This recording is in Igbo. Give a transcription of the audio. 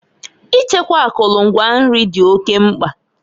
Ichekwa akụlụ ngwa nri di oke mkpa.